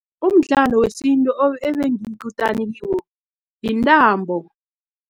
Umdlalo wesintu obengiyikutani kiwo, yintambo.